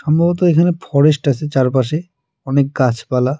মূলত এখানে ফরেস্ট আসে চারপাশে অনেক গাছপালা।